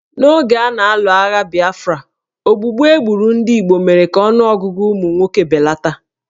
N'oge a na-alụ agha Biafra, ogbugbu e gburu ndị Igbo mere ka ọnụọgụgụ ụmụ nwoke belata